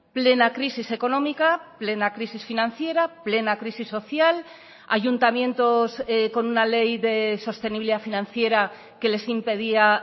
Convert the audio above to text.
plena crisis económica plena crisis financiera plena crisis social ayuntamientos con una ley de sostenibilidad financiera que les impedía